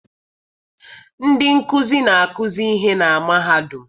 Ndị nkụzi na-akuzi ihe na mahadum